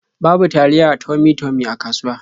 Babu taliya Tummy-Tummy a kasuwa.